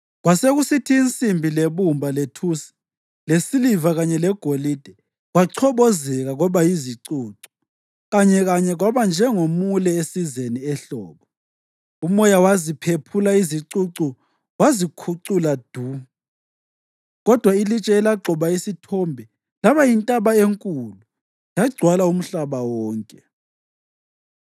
Kwasekusithi insimbi, lebumba, lethusi, lesiliva kanye legolide kwachobozeka kwaba yizicucu kanyekanye kwaba njengomule esizeni ehlobo. Umoya waziphephula izicucu wazikhucula du. Kodwa ilitshe elagxoba isithombe laba yintaba enkulu yagcwala umhlaba wonke.